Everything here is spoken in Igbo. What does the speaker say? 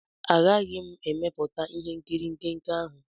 Agaghị m emepụta ihe nkiri nke nke ahụ.